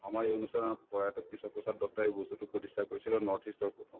আমাৰ এই অনুষ্ঠানৰ প্ৰয়াত কেশৱ প্ৰসাদ দত্তয়ে এই বস্তুতো producer কৰিছিলে north-east ৰ প্ৰথম